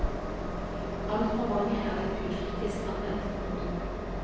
Altfor mange er blitt ukritisk anvendt. punktum